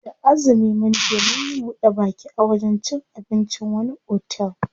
Da azumi munje munyi buɗe baki a wajen cin abincin wani otel.